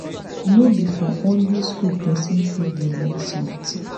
no be for only school person fit dey learn something